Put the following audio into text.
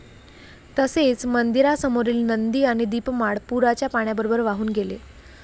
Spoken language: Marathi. तसेच मंदिरासमोरील नंदी आणि दीपमाळ पूराच्या पाण्याबरोबर वाहून गेले.